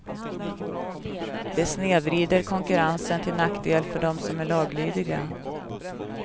Det snedvrider konkurrensen till nackdel för dem som är laglydiga.